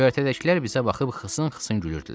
Göyərtədəkilər bizə baxıb xısın-xısın gülürdülər.